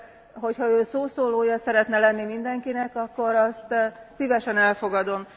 De, hogyha Ön szószólója szeretne lenni mindenkinek, akkor azt szívesen elfogadom.